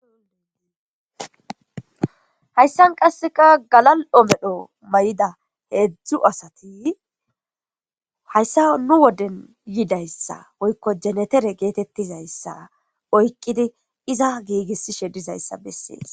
ihayssan qasseka galal7o medho may7ida heedzdzu asati hayssao nu woden yidayssa woykko jenetere geetettizayssa oykqidi iza giigissishe dizayssa bessees